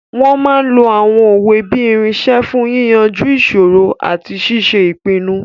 Wọ́n máa n lo àwọn òwe bí irinṣẹ́ fún yíyanjú ìṣòro àti ṣíṣe ìpinnu